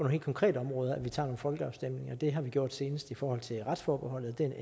helt konkrete områder at vi tager nogle folkeafstemninger og det har vi gjort senest i forhold til retsforbeholdet den